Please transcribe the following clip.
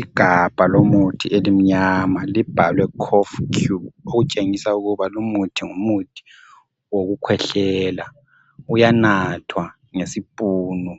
Igabha lomuthi elimnyama libhalwe kof cure okutshengisa ukuba lumuthi ngumuthi wokukhwehlela uyanathwa ngesipunu